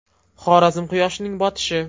Xorazm quyoshining botishi.